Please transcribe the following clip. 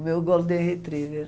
O meu Golden Retriever.